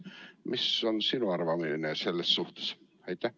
Mis on sinu arvamine selles suhtes?